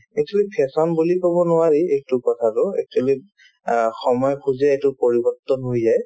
actually fashion বুলি ক'ব নোৱাৰি এইটো কথাটো actually অ সময় খোজে এইটো পৰিবৰ্তন হৈ যায়